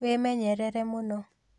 Wĩmenyerere mũno